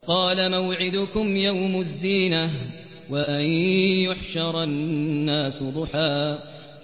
قَالَ مَوْعِدُكُمْ يَوْمُ الزِّينَةِ وَأَن يُحْشَرَ النَّاسُ ضُحًى